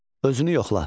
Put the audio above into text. Özünü yoxla.